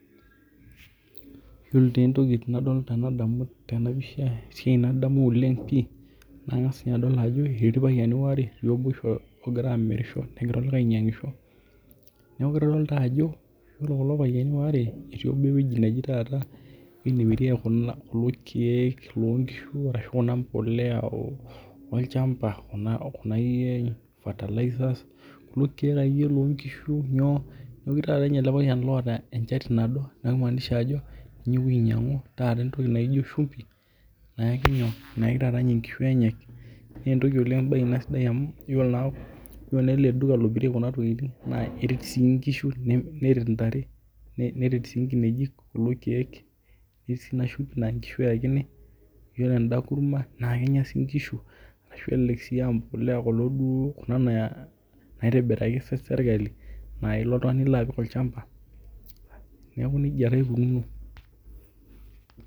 Iyiolo taa entoki nadol tenadamu tena pisha esiai nadamu oleng pii, nangas ninye adol ajo etii ilpayiani, aarr obo ogira aamirisho, negira olikae ainyiangisho. neeku kitodolu taa ajo ore kulo payiani waare etii obo ewueji neji taata nemirieki kulo keek loo nkishu ashu eyau olchampa Kuna akeyie fertilizers kulo keek akeyie loonkishu, nyoo neeku ketii taata ninye ele payian loota enchati nado, neeku kimaanisha ajo ninye oyewuo ainyiangu taata entoki naijo shumpi. naijo nyoo nayaki taata nkishu enyenak. naa entoki oleng sidai Ina amu, iyiolo naa ele duka lomirieki Kuna tokitin naa iret sii nkishu neret ntare. neret sii nkineji kulo keek,. naa nkishu eyakini, ore eda kurma naa Kenya sii nkishu ashu elelek sii empuliya Kuna duo naitibiriaki sirkali naa ilo oltungani nilo apik olchampa, neeku nejia taa ikununo.